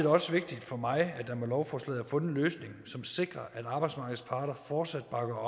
også vigtigt for mig at der med lovforslaget er fundet en løsning som sikrer at arbejdsmarkedets parter fortsat bakker